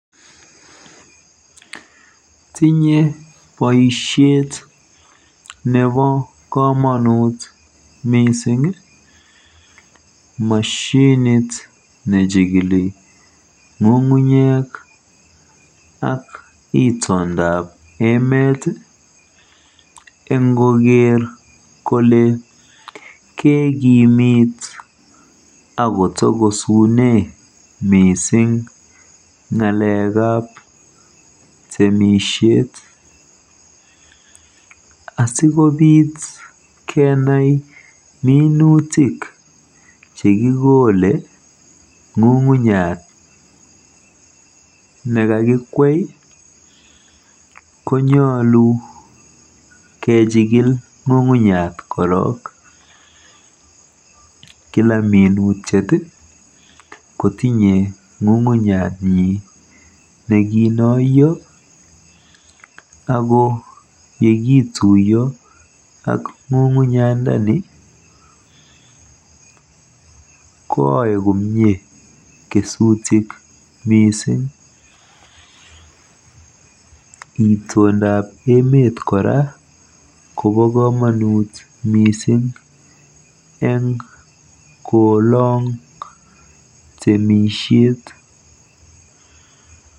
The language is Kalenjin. Tinyei boisiet nebo komonut mising moshinit nejikili ng'ung'unyek ak itondab emeet eng koker kole keekimit akotokosune miising ng'alekab temisiet. Asikobit kenai minutiet nekikole ng'ung'unyat nekakikwei konyolu kejikil ngungunyat korook. kila minutiet kotinye ng'ung'unyat nyi nekinoiyo ako yekituiyo koaei komie kesutik miising. Itondab emeet koba komonut miising eng koolong temisiet.